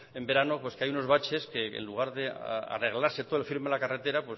en verano pues que hay unos baches que en lugar de arreglarse todo el firme de la carretera